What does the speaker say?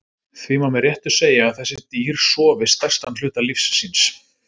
Því má með réttu segja að þessi dýr sofi stærstan hluta lífs síns.